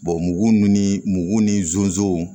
mugu ni mugu ni zonzow